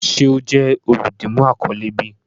Ṣe o jẹ oludimu akọle bi?